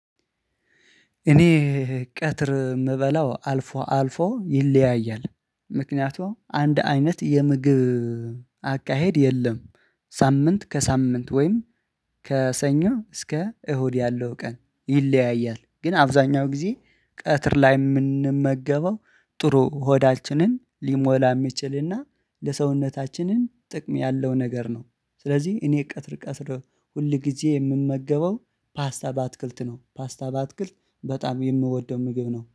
እኔ ቀትር የምበላው አልፎ አልፎ ይለያያል። ምክንያቱም አንድ አይነት የምግብ አካሄድ የለም። ሳምንት ከሳምንት ወይም ከሰኞ እስከ እሁድ ያለው ቀን ይለያያል። ግን አብዛኛው ጊዜ ቀትር ላይ የምንመገበው ጥሩ ሆዳችንን ሊሞላ የሚችልና ለሰውነታችንን ጥቅም ያለው ነገር ነው። ስለዚህ እኔ ቀትር ቀትር ሁል ጊዜ የምመገበው ፓስታ በአትክልት ነው ፓስታ በአትክልት በጣም የምወደው ምግብ ነው